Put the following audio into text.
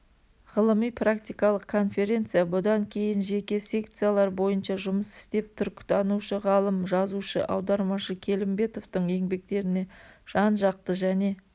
ғылыми-практикалық конференция бұдан кейін жеке секциялар бойынша жұмыс істеп түркітанушы-ғалым жазушы аудармашы келімбетовтың еңбектеріне жан-жақты және